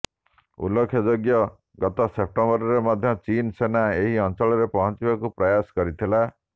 ଉଲ୍ଲେଖଯୋଗ୍ୟ ଗତ ସେପ୍ଟେମ୍ବରରେ ମଧ୍ୟ ଚୀନ୍ ସେନା ଏହି ଅଞ୍ଚଳରେ ପହଞ୍ଚିବାକୁ ପ୍ରୟାସ କରିଥିଲା